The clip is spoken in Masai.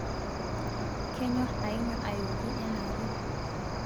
kenyorr ainyo ayooki enaake